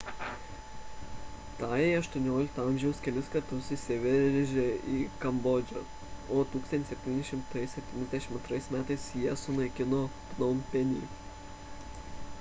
tajai xviii a kelis kartus įsiveržė į kambodžą o 1772 m jie sunaikino pnompenį